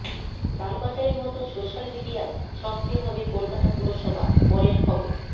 লালবাজারের মতো সোশ্যাল মিডিয়ায় সক্রিয় হবে কলকাতা পুরসভা পরের খবর